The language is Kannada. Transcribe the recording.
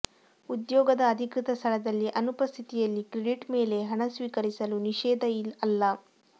ಉದ್ಯೋಗದ ಅಧಿಕೃತ ಸ್ಥಳದಲ್ಲಿ ಅನುಪಸ್ಥಿತಿಯಲ್ಲಿ ಕ್ರೆಡಿಟ್ ಮೇಲೆ ಹಣ ಸ್ವೀಕರಿಸಲು ನಿಷೇಧ ಅಲ್ಲ